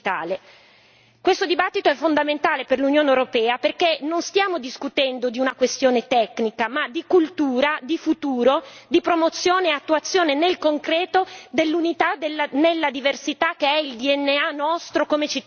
Questo dibattito è fondamentale per l'Unione europea perché non stiamo discutendo di una questione tecnica, ma di cultura, di futuro, di promozione e attuazione nel concreto dell'unità nella diversità, che è il nostro DNA come cittadini europei.